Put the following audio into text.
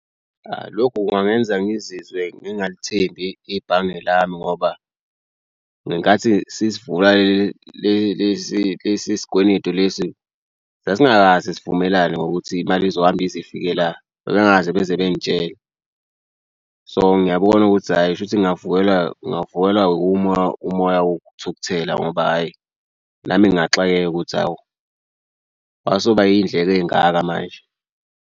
Lokhu kungangenza ngizizwe ngingalithembi ibhange lami ngoba ngenkathi sisivula le lesi lesi sikweletu lesi sasingakaze sivumelane ngokuthi imali izohamba ize ifike la. Bebengakaze beze bengitshele so ngiyabona ukuthi hhayi kushuthi ngingavukela ngingavukelwa umoya umoya wokuthukuthela ngoba hhayi nami ngingaxakeka ukuthi awu wasuba iy'ndleko ey'ngaka manje.